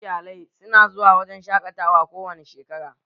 Yawancin iyalai su na zuwa wurin shaƙatawa kowane shekara